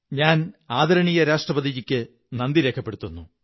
ഞാൻ ആദരണീയ രാഷ്ട്രപതിക്ക് നന്ദി രേഖപ്പെടത്തുന്നു